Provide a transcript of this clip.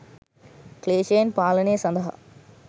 ක්ලේෂයන් පාලනය සඳහා